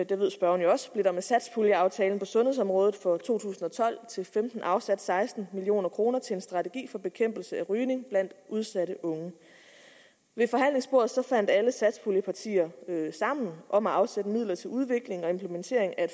det ved spørgeren jo også blev der med satspuljeaftalen på sundhedsområdet for to tusind og tolv til femten afsat seksten million kroner til en strategi for bekæmpelse af rygning blandt udsatte unge ved forhandlingsbordet fandt alle satspuljepartier sammen om at afsætte midler til udvikling og implementering af